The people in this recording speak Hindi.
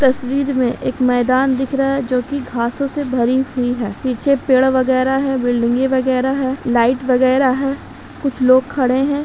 तस्वीर में एक मैदान दिख रहा है जो की घासों से भरी हुई है पीछे पेड़ वगैरा हैं बिल्डिंगे वगैरा हैं लाइट वगैरा हैं कुछ लोग खड़े हैं।